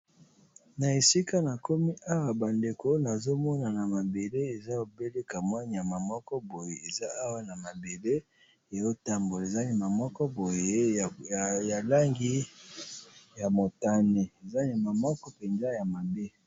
a esika na komi awa bandeko nazomona na mabele eza obelekamwa nyama moko boye eza awa na mabele eotambola eza nyama moko boye ya langi ya motane eza nyama moko mpenza ya mabe.